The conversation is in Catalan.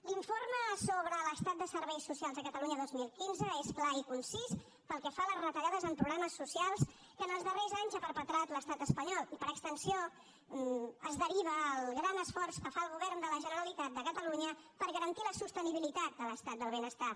l’informe sobre l’estat dels serveis socials a catalunya dos mil quinze és clar i concís pel que fa a les retallades en programes socials que en els darrers anys ha perpetrat l’estat espanyol i per extensió es deriva el gran esforç que fa el govern de la generalitat de catalunya per garantir la sostenibilitat de l’estat del benestar